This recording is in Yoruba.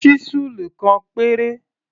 Ṣísẹ́ẹ̀lì kan péré.